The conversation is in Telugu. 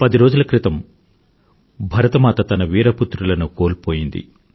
పది రోజుల క్రితం భరతమాత తన వీర పుత్రులను కోల్పోయింది